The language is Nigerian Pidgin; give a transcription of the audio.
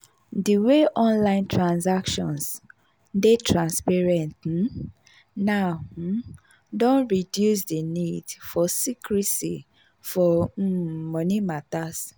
di way online transactions dey transparent um now um don reduce di nid for secrecy for um moni matters.